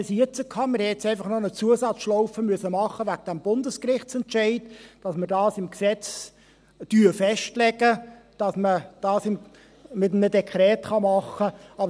Wir mussten jetzt einfach wegen des Bundesgerichtsentscheids noch eine Zusatzschlaufe machen, indem wir im Gesetz festlegen, dass man dies mit einem Dekret machen kann.